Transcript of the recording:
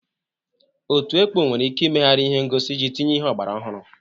Otu ekpo nwere ike imegharị ihe ngosi iji tinye ihe ọgbara ọhụrụ.